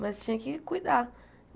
Mas tinha que cuidar.